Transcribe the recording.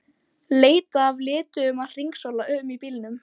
Leitað að lituðum að hringsóla um í bílum.